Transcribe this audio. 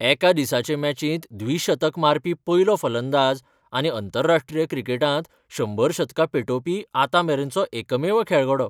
एका दिसाचे मॅचिंत द्विशतक मारपी पयलो फलंदाज आनी अंतरराष्ट्रीय क्रिकेटांत शंबर शतकां पेटोवपी आतांमेरेनचो एकमेव खेळगडो.